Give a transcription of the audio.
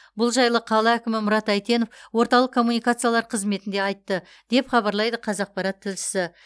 бұл жайлы қала әкімі мұрат әйтенов орталық коммуникациялар қызметінде айтты деп хабарлайды қазақпарат тілшісі